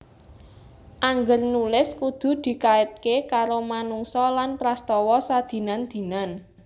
Angger nulis kudu dikaitké karo manungsa lan prastawa sadinan dinan